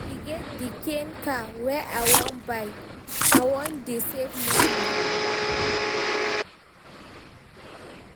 E get di kain car wey I wan buy, I don dey save moni.